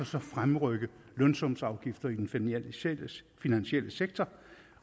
så fremrykke lønsumsafgiften i den finansielle finansielle sektor